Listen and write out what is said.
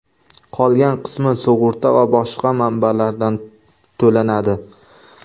Qolgan qismi sug‘urta va boshqa manbalardan to‘lanadi.